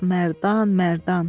Ah, Mərdan, Mərdan.